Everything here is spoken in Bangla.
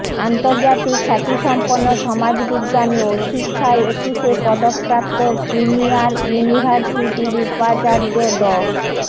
আন্তর্জাতিক খ্যাতিসম্পন্ন সমাজবিজ্ঞানী ও শিক্ষায় একুশে পদকপ্রাপ্ত প্রিমিয়ার ইউনিভার্সিটির উপাচার্য ড